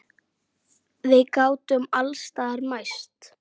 Við gátum alls staðar mæst.